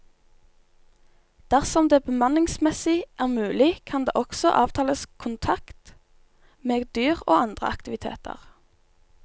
Dersom det bemanningsmessig er mulig, kan det også avtales kontakt med dyr og andre aktiviteter.